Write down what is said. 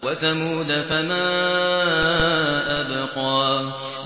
وَثَمُودَ فَمَا أَبْقَىٰ